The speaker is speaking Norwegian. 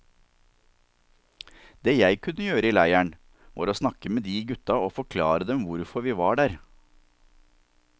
Det jeg kunne gjøre i leiren, var å snakke med de gutta og forklare dem hvorfor vi var der.